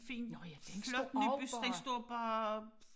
Nåh ja den står også bare